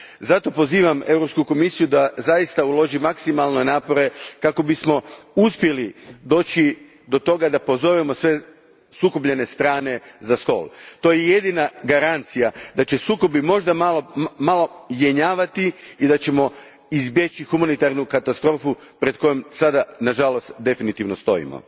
Zato pozivam Europsku komisiju da uloži maksimalne napore kako bismo uspjeli doći do toga da pozovemo sve sukobljene strane za stol. To je jedina garancija da će sukobi možda malo jenjavati i da ćemo izbjeći humanitarnu katastrofu pred kojom, sada, nažalost definitivno stojimo.